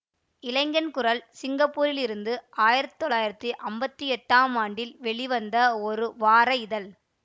இளைஞன்குரல் சிங்கப்பூரிலிருந்து ஆயிரத்தி தொள்ளாயிரத்தி அம்பத்தி எட்டாம் ஆண்டில் வெளிவந்த ஒரு வார இதழ்